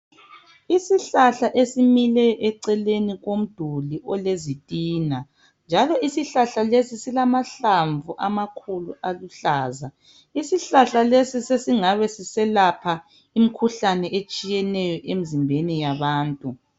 Isihlahla esimile eceleni komduli olezitina njalo isihlahla lesi silamahlamvu amakhulu aluhlaza. Isihlahla lesi sesingabe siselapha imikhuhlane etshiyeneyo emzimbeni yabantu.